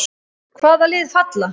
Hvaða lið falla?